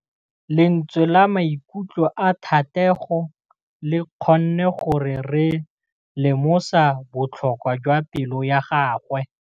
Lentswe la maikutlo a Thategô le kgonne gore re lemosa botlhoko jwa pelô ya gagwe.